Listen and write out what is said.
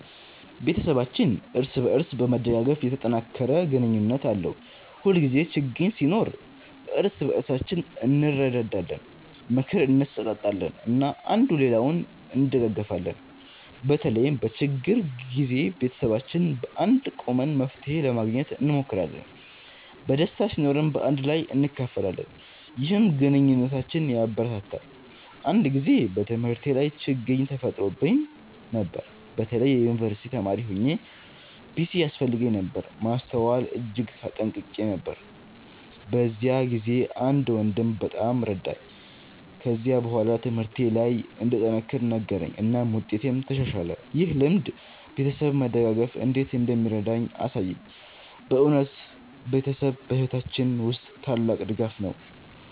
ቤተሰባችን እርስ በእርስ በመደጋገፍ የተጠናከረ ግንኙነት አለው። ሁልጊዜ ችግኝ ሲኖር እርስ በእርሳችን እንረዳዳለን፣ ምክር እንሰጣጣለን እና አንዱ ሌላውን እንደጋገፊለን። በተለይም በችግር ጊዜ ቤተሰባችን በአንድነት ቆመን መፍትሄ ለማግኘት እንሞክራለን። ደስታ ሲኖርም በአንድ ላይ እናካፍላለን፣ ይህም ግንኙነታችንን ያበረታታል። አንድ ጊዜ በትምህርቴ ላይ ችግኝ ተፈጥሮብኝ ነበር። በተለይ የዩንቨርሲቲ ተማሪ ሆኘ ፒሲ ያስፈልገኝ ነበር ማስተዋል እጅግ ተጨንቄ ነበር። በዚያ ጊዜ አንድ ወንድሜ በጣም ረዳኝ። ከዚያ በኋላ ትምህርቴ ለይ እንድጠነክር ነገረኝ እናም ውጤቴም ተሻሻለ። ይህ ልምድ ቤተሰብ መደጋገፍ እንዴት እንደሚረዳ አሳየኝ። በእውነት ቤተሰብ በሕይወታችን ውስጥ ታላቅ ድጋፍ ነው።